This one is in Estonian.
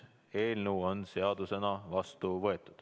Eelnõu on seadusena vastu võetud.